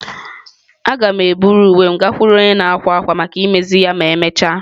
Aga m eburu uwe m gakwuru onye na-akwa akwa maka imezi ya ma emechaa.